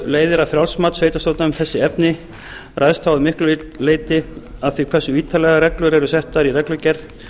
leiðir að frjálst mat sveitarstjórna um þessi efni ræðst þá að miklu leyti af því hversu ítarlegar reglur eru settar í reglugerð